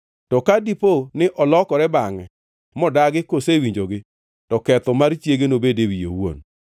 To ka dipo ni olokore bangʼe modagi kosewinjogi, to ketho mar chiege nobed e wiye owuon.”